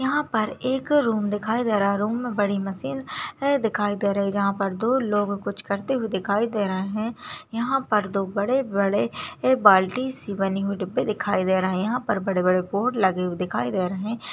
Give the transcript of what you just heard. यहा पर एक रूम दिखाई दे रहा है रूम बड़ी मसीन है दिखाई दे रहे है यहा पर दो लोग कुछ करते हुए दिखाई दे रहे है यहा पर दो बड़े-बड़े ये बाल्टीसी बनी हुई डिब्बे दिखाई दे रही है यहा पर बड़े-बड़े बोर्ड लगे हुए दिखाई दे रहे --